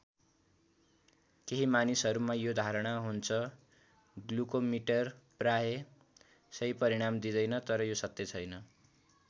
केही मानिसहरुमा यो धारणा हुन्छ ग्लूकोमीटर प्रायः सही परिणाम दिंदैनन् तर यो सत्य छैन।